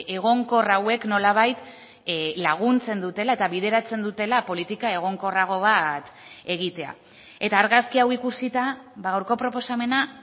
egonkor hauek nolabait laguntzen dutela eta bideratzen dutela politika egonkorrago bat egitea eta argazki hau ikusita gaurko proposamena